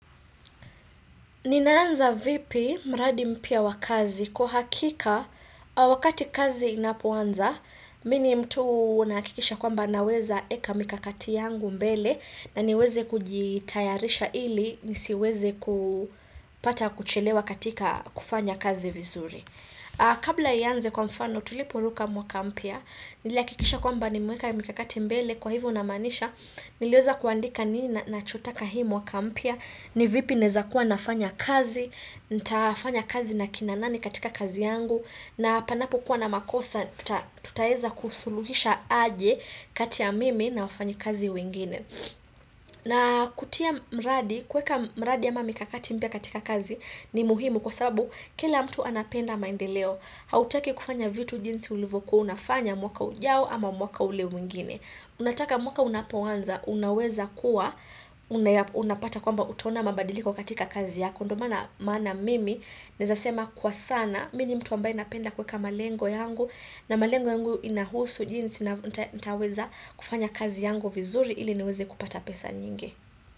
Ninaanza vipi mradi mpya wa kazi kwa uhakika wakati kazi inapoanza, mi ni mtu naakikisha kwamba naweza eka mikakati yangu mbele na niweze kujitayarisha ili, nisiweze kupata kuchelewa katika kufanya kazi vizuri. Kabla iyanze kwa mfano tuliporuka mwaka mpya niliakikisha kwamba nimeweka mikakati mbele kwa hivo namaanisha niliweza kuandika nini nachotaka hii mwaka mpya ni vipi naeza kuwa nafanya kazi nitafanya kazi na kina nani katika kazi yangu na panapo kuwa na makosa tutaeza kusuluhisha aje kati ya mimi na wafanyi kazi wengine na kutia mradi kuweka mradi ama mikakati mpya katika kazi ni muhimu kwa sababu kila mtu anapenda maendeleo hautaki kufanya vitu jinsi ulivokuo unafanya mwaka ujao ama mwaka ule mwingine unataka mwaka unapoanza unaweza kuwa unapata kwamba utaona mabadiliko katika kazi yako ndo maana mimi naezasema kwa sana mi ni mtu ambaye napenda kuweka malengo yangu na malengo yangu inahusu jinsi na nitaweza kufanya kazi yangu vizuri ili niweze kupata pesa nyingi.